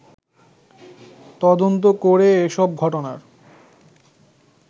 তদন্ত করে এসব ঘটনার